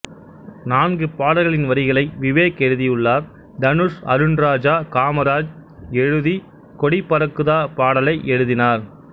நான்கு பாடல்களின் வரிகளை விவேக் எழுதியுள்ளார் தனுஷ் அருண்ராஜா காமராஜ் எழுதி கொடி பறக்குதா பாடலை எழுதினார்